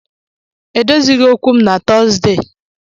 Edozighị okwu m na Tọzdee.